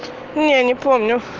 не не помню